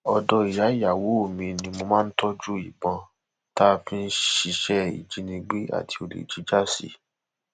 ọdọ ìyá ìyàwó mi ni mo máa ń tọjú ìbọn tá a fi ń ṣiṣẹ ìjínigbé àti olè jíjà sí